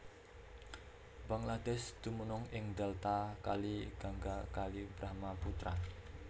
Bangladesh dumunung ing Delta Kali Gangga Kali Brahmaputra